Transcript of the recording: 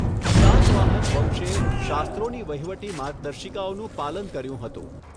સાતવાહન વંશે શાસ્ત્રોની વહીવટી માર્ગદર્શિકાઓનું પાલન કર્યું હતું.